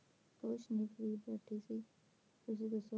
ਕੁਚਨੀ free ਬੈਠੀ ਸੀ, ਤੁਸੀਂ ਦੱਸੋ